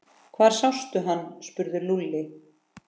Hvar sástu hann? spurði Lúlli.